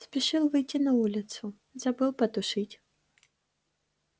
спешил выйти на улицу забыл потушить